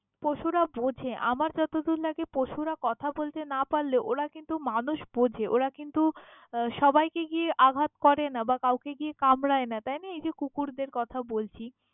পশুরা বোঝে, আমার যতদূর লাগে পশুরা কথা বলতে না পারলেও ওরা কিন্তু মানুষ বোঝে ওরা কিন্তু হম সবাইকে গিয়ে আঘাত করেনা বা কাউকে গিয়ে কামড়ায় না। তাই না? এই যে কুকুরদের কথা বলছি!